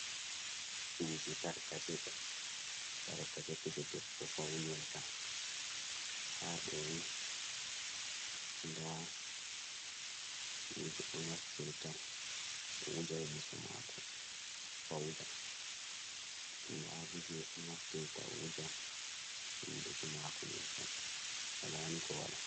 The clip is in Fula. Kuje tarkace, tarkace kuje debbo faunirta, ha ɗoni nda kuje o naftirta o wuja yeso mako pauda, nda boje o naftirta o wuja hunduko mako nyebbam walani ko wala.